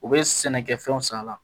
U bɛ sɛnɛkɛfɛnw san a la